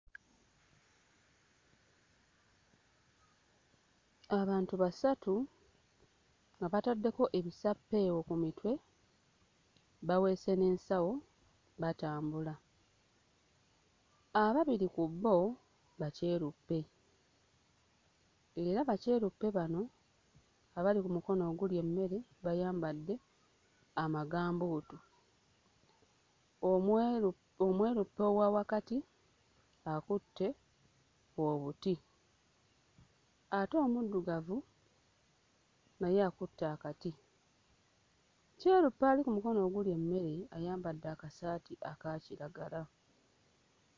Abantu basatu nga bataddeko ebisappeewo ku mitwe baweese n'ensawo, batambula. Ababiri ku bo bakyeruppe era bakyeruppe bano abali ku mukono ogulya emmere bayambadde amagambuutu, omweru omweruppe owa wakati akutte obuti ate omuddugavu naye akutte akati; kyeruppe ali ku mukono ogulya emmere ayambadde akasaati aka kiragala.